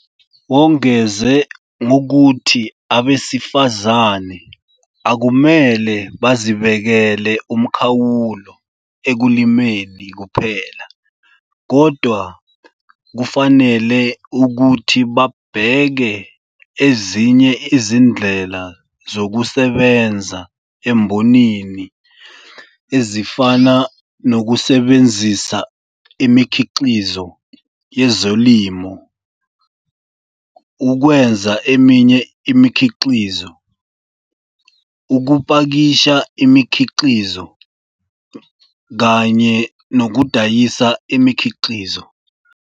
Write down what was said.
Wongeze ngokuthi abesifazane akumele bazibekele umkhawulo ekulimeni kuphela kodwa kufanele ukuthi babheke ezinye izindlela zokusebenza embonini ezifana nokusebenzisa imikhiqizo yezolimo ukwenza eminye imikhiqizo, ukupakisha imikhiqizo, kanye nokudayisa imikhiqizo.